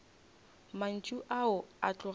mantšu ao a tloga a